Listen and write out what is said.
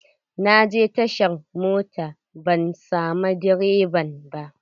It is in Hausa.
Na je tashar mota ban samu direban ba.